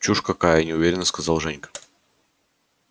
чушь какая неуверенно сказал женька